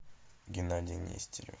геннадий нестеров